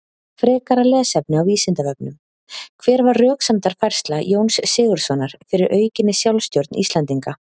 Frekara lesefni á Vísindavefnum: Hver var röksemdafærsla Jóns Sigurðssonar fyrir aukinni sjálfstjórn Íslendinga?